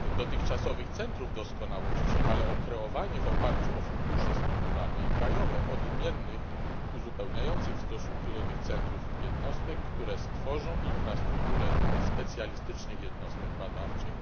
dotychczasowych centrów doskonałości, ale o kreowanie w oparciu o fundusze strukturalne i krajowe odmiennych, uzupełniających w stosunku do tych centrów, jednostek, które stworzą infrastrukturę specjalistycznych jednostek badawczych,